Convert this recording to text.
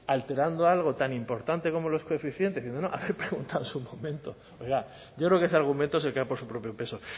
alterando algo tan importante como los coeficientes no no hay que preguntar en su momento oiga yo creo que ese argumento se cae por su propio peso